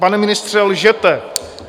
Pane ministře, lžete.